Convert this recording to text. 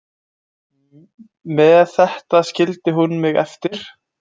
Með þetta skildi hún mig eftir.